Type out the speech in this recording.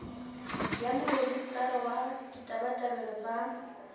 ya morejistara wa ditabatabelo tsa